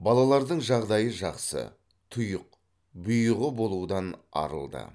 балалардың жағдайы жақсы тұйық бұйығы болудан арылды